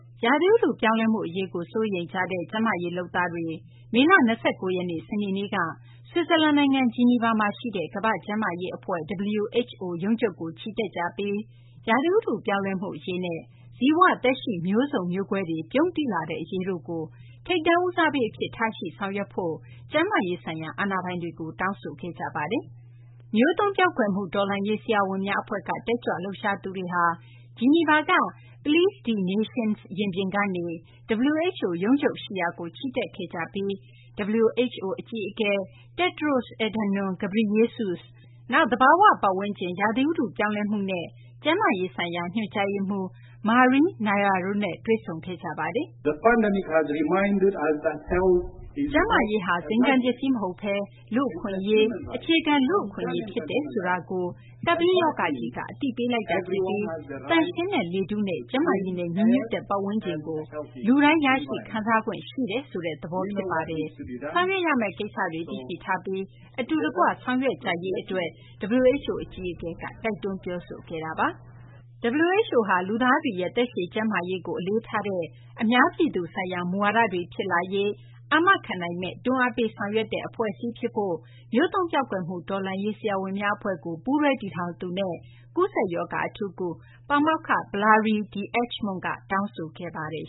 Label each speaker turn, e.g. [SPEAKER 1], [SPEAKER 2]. [SPEAKER 1] ရာသီဥတုပြောင်းလဲမှု အရေးကို စိုးရိမ်ကြတဲ့ ကျန်းမာရေးလုပ်သားတွေ မေလ ၂၉ ရက်နေ့ စနေနေ့က ဆွစ်ဇာလန်နိုင်ငံ ဂျီနီဗာမှာရှိတဲ့ ကမ္ဘာ့ကျန်းမာရေးအဖွဲ့ (WHO) ရုံးချုပ်ကို ချီတက်ကြပြီး ရာသီဥတုပြောင်းလဲမှု အရေးနဲ့ ဇီဝသက်ရှိ မျိုးစုံ မျိုးကွဲတွေ ပြုန်းတီးလာတဲ့ အရေးတို့ကို ထိပ်တန်းဦးစားပေးအဖြစ် ထားရှိ ဆောင်ရွက်ဖို့ ကျန်းမာရေးဆိုင်ရာ အာဏာပိုင်တွေကို တောင်းဆိုခဲ့ကြပါတယ်။ မျိုးသုဉ်းပျောက်ကွယ်မှု တော်လှန်ရေး ဆရာဝန်များအဖွဲ့က တက်ကြွလှုပ်ရှားသူတွေဟာ ဂျီနီဗာက Place des Nations ရင်ပြင်ကနေ WHO ရုံးချုပ်ရှိရာကို ချီတက်ခဲ့ကြပြီး WHO အကြီးအကဲ Tedros Adhanom Ghebreyesus၊ နောက် သဘာဝပတ်ဝန်းကျင် ရာသီဥတု ပြောင်းလဲမှုနဲ့ ကျန်းမာရေးဆိုင်ရာ ညွှန်ကြားရေးမှူး Maria Neira တို့နဲ့ တွေ့ဆုံခဲ့ပါတယ်
[SPEAKER 2] ။ WHO အကြီးအကဲက ချီတက်လာတဲ့ တက်ကြွလှုပ်ရှားသူတွေကို ကြိုဆိုခဲ့ပါတယ်။ “ကျန်းမ
[SPEAKER 1] ာရေးဟာ ဇိမ်ခံပစ္စည်းမဟုတ်ဘဲ လူ့အခွင့်အရေး၊ အခြေခံလူ့အခွင့်အရေး ဖြစ်တယ်ဆိုတာကို ကပ်ဘေးရောဂါကြီးက အသိပေးလိုက်တာဖြစ်ပြီး သန့်ရှင်းတဲ့ လေထုနဲ့ ကျန်းမာရေးနဲ့ ညီညွတ်တဲ့ ပတ်ဝန်းကျင်က
[SPEAKER 2] ို လူတိုင်း ရရှိခံ
[SPEAKER 1] စားခွင့် ရှိတယ်ဆိုတဲ့ သဘော ဖြစ်ပါတယ်။ ဆောင်ရွက်ရမယ့် ကိစ္စတွေကို သိရှိထားပြီး အတူတကွ ဆောင်ရွက်ကြရေးအတွက်” WHO အကြီးအကဲက တိုက်တွန်း ပြောဆိုခဲ့တာပါ။ WHO ဟာ လူသားတွေရဲ့ သက်ရှည်ကျန်းမာရေးကို အလေးထားတဲ့ အများပြည်သူဆိုင်ရာ မူဝါဒတွေ ဖြစ်လာရေး အာမခံနိုင်မယ့် တွန်းအားပေး ဆောင်ရွက်တဲ့ အဖွဲ့အစည်းဖြစ်ဖို့ မျိုးသုဉ်းပျောက်ကွယ်မှု တော်လှန်ရေး ဆရာဝန်များ အဖွဲ့ကို ပူးတွဲတည်ထောင်သူန
[SPEAKER 2] ဲ့ ကူးစက်ရောဂါ အထူးကု ပါမောက္ခ Valerie D’Acremont က တောင်းဆိုခဲ့ပါတယ်